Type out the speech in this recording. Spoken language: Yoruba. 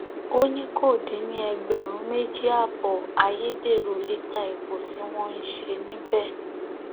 ó ní kó dín ní ẹgbẹrún méjì ààbọ ayédèrú lítà epo tí wọn ń ṣe níbẹ